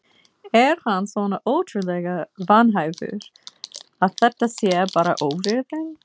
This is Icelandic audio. Er hann svona ótrúlega vanhæfur að þetta sé bara óvirðing?